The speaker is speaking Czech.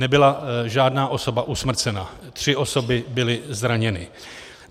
Nebyla žádná osoba usmrcena, tři osoby byly zraněny.